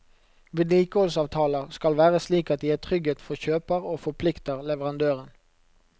Vedlikeholdsavtaler skal være slik at de gir trygghet for kjøper og forplikter leverandøren.